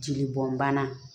Jeli bɔn bana